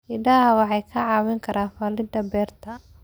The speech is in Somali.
Idaha waxay ka caawiyaan falidda beerta.